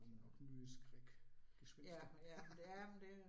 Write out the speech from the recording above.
Der kommer nok nye skrækegspenster